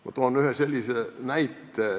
Ma toon ühe näite.